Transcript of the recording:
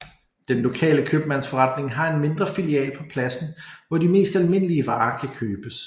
Den lokale købmandsforretning har en mindre filial på pladsen hvor de mest almindelige varer kan købes